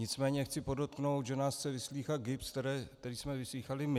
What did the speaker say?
Nicméně chci podotknout, že nás chce vyslýchat GIBS, který jsme vyslýchali my.